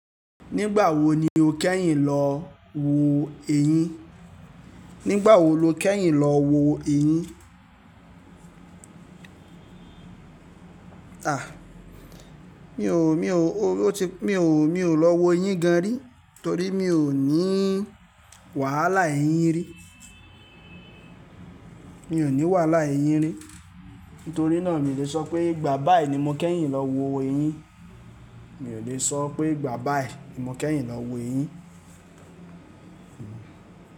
Nígbà wo ni o kẹ́yìn lọ wo eyín? Nígbà wo lo kẹ́yìn lọ wo eyín? A! Mi ò, mi ò, o ti, mi ò, mi ò lọ wo eyín gan rí torí mi ò ní wàhálà eyín rí. Mi ò ní wàhálà eyín rí. Nítorí náà mi ò lè sọ pé ìgbà bá yìí ni mo kẹ́yìn lọ wo eyín. Mi ò lè sọ pé ìgbà bá yìí ni mo kẹ́yìn lọ wo eyín.